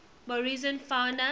morrison fauna